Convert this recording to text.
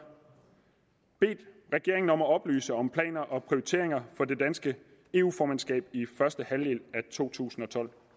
bedt regeringen om at oplyse om planer og prioriteringer for det danske eu formandskab i første halvdel af totusinde